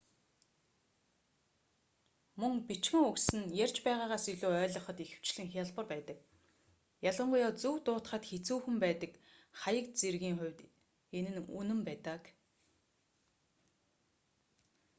мөн бичгэн үгс нь ярьж байгаагаас илүү ойлгоход ихэвчлэн хялбар байдаг ялангуяа зөв дуудахад хэцүүхэн байдаг хаяг зэргийн хувьд энэ нь үнэн байдаг